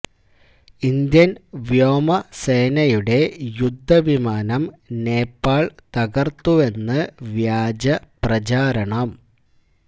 Indian വ്യോമസേനയുടെ യുദ്ധ വിമാനം നേപ്പാള് തകര്ത്തുവെന്ന് വ്യാജ പ്രചാരണം